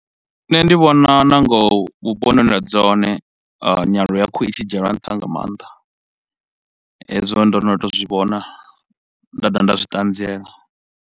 Nṋe ndi vhona nangoho vhuponi hune nda dzula hone, nyaluwo ya khuhu i tshi dzhielwa nṱha nga maanḓa. Hezwo ndo no tou zwivhona nda dovha nda zwi ṱanziela.